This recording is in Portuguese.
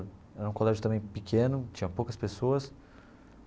Era um colégio também pequeno, tinha poucas pessoas.